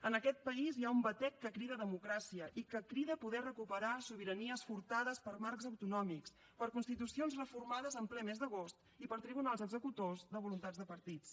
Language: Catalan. en aquest país hi ha un batec que crida democràcia i que crida poder recuperar sobiranies furtades per marcs autonòmics per constitucions reformades en ple mes d’agost i per tribunals executors de voluntats de partits